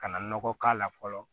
Ka na nɔgɔ k'a la fɔlɔ